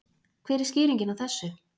Hver er skýringin á þessu?